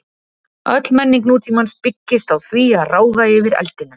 Öll menning nútímans byggist á því að ráða yfir eldinum.